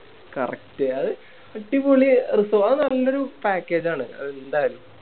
Correct അത് അടിപൊളി resort അത് നല്ലൊരു Package ആണ് അത് എന്തായാലും